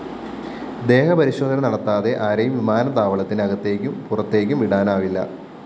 ദേഹപരിശോധന നടത്താതെ ആരെയും വിമാനത്താവളത്തിനകത്തേക്കും പുറത്തേക്കും വിടാനാവില്ല